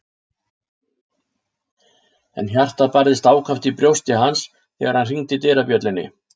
En hjartað barðist ákaft í brjósti hans þegar hann hringdi dyrabjöllunni.